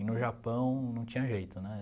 E no Japão não tinha jeito, né?